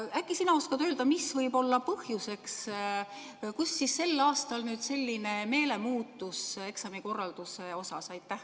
Äkki sina oskad öelda, mis võib olla põhjuseks, et sel aastal selline meelemuutus eksamikorralduse osas on.